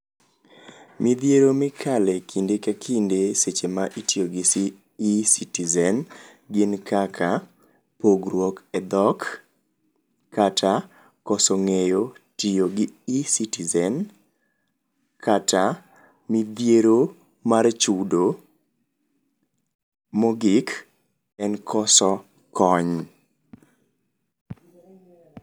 Midhiero mikale kinde ka kinde seche ma itiyo gi Ecitizen gin kaka; pogruok e dhok, kata koso ng'eyo tiyo gi Ecitizen, kata midhiero mar chudo, mogik en koso kony.